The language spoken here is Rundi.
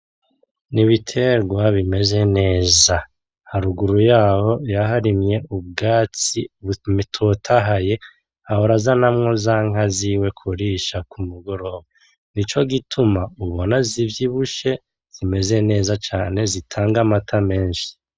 Nibiterwa bimeze neza, haruguru yaho yaharimye ubwatsi butotahaye. Ahora azanamwo za nka ziwe kurisha kumugoroba, nico gituma ubona zivyibushe zimeza neza cane zitanga amata menshi.